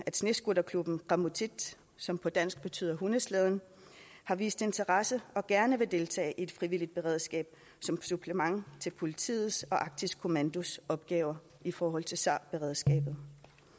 snescooterklubben qamutit som på dansk betyder hundeslæden har vist interesse og gerne vil deltage i et frivilligt beredskab som supplement til politiets og arktisk kommandos opgaver i forhold til sar beredskabet